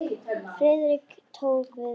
Friðrik tók því vel.